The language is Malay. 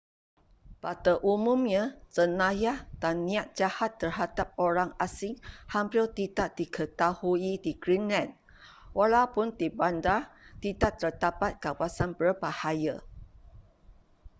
pada umumnya jenayah dan niat jahat terhadap orang asing hampir tidak diketahui di greenland walaupun di bandar tidak terdapat kawasan berbahaya